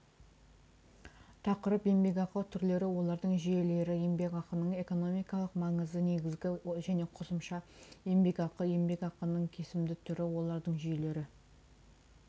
тақырып еңбекақы түрлері олардың жүйелері еңбеқақының экономикалық маңызы негізгі және қосымща еңбекақы еңбекақының кесімді түрі олардың жүйелері